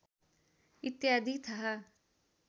इत्यादि थाहा